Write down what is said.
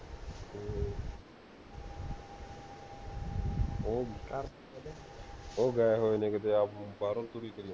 ਉਹ ਗਏ ਹੋਏ ਨੇ ਕੀਤੇ ਆਪ, ਬਾਹਰੋਂ ਤੂੜੀ ਕਰਿ ਜਾਂਦੇ ਹੈਂ